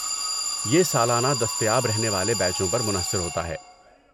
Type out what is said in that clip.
یہ سالانہ دستیاب رہنے والے بیچوں پر منحصر ہوتا ہے۔